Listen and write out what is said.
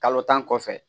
Kalo tan kɔfɛ